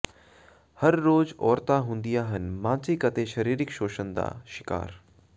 ਹਰ ਰੋਜ਼ ਔਰਤਾਂ ਹੁੰਦੀਆਂ ਹਨ ਮਾਨਸਿਕ ਤੇ ਸਰੀਰਕ ਸ਼ੋਸ਼ਣ ਦਾ ਸ਼ਿਕਾਰ